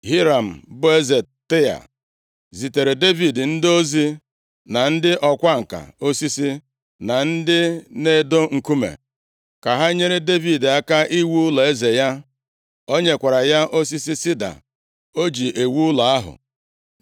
Hiram bụ eze Taịa zitere Devid ndị ozi, na ndị ọkwa ǹka osisi na ndị na-edo nkume, ka ha nyere Devid aka iwu ụlọeze ya. O nyekwara ya osisi sida o ji ewu ụlọ ahụ.